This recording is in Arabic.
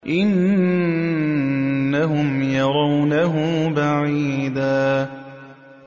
إِنَّهُمْ يَرَوْنَهُ بَعِيدًا